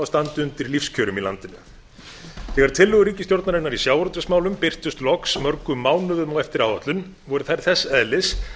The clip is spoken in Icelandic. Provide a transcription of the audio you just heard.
að standa undir lífskjörum í landinu þegar tillögur ríkisstjórnarinnar í sjávarútvegsmálum birtust loks mörgum mánuðum á eftir áætlun voru þær þess eðlis